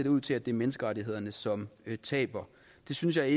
ud til at det er menneskerettighederne som taber det synes jeg